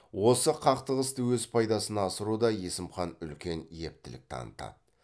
осы қақтығысты өз пайдасына асыруда есім хан үлкен ептілік танытады